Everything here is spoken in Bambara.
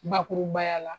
Bakurubaya la